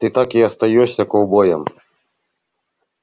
ты так и остаёшься ковбоем